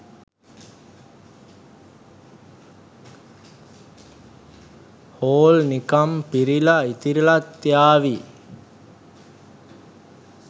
Hall නිකම් පිරිලා ඉතිරිලත් යාවි.